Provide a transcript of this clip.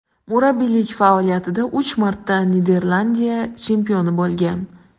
Murabbiylik faoliyatida uch marta Niderlandiya chempioni bo‘lgan.